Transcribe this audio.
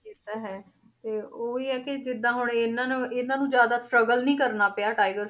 ਇਹ ਤਾਂ ਹੈ, ਤੇ ਉਹੀ ਹੈ ਕਿ ਜਿੱਦਾਂ ਹੁਣ ਇਹਨਾਂ ਨੂੰ ਇਹਨਾਂ ਨੂੰ ਜ਼ਿਆਦਾ struggle ਨੀ ਕਰਨਾ ਪਿਆ ਟਾਈਗਰ